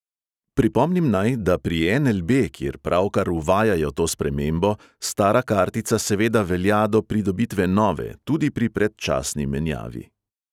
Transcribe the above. Pripomnim naj, da pri NLB, kjer pravkar uvajajo to spremembo, stara kartica seveda velja do pridobitve nove, tudi pri predčasni menjavi.